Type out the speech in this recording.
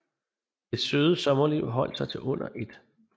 Det søde sommerliv holdt sig til under 1